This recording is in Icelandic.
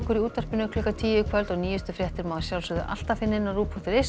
í útvarpi klukkan tíu í kvöld og nýjustu fréttir má alltaf finna á rúv punktur is